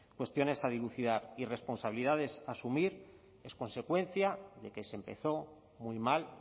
cuestiones a dilucidar y responsabilidades a asumir es consecuencia de que se empezó muy mal